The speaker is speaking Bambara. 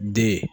Den